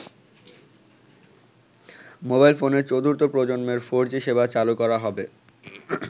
Mobile ফোনের চতুর্থ প্রজন্মের ফোর জি সেবা চালু করা হবে।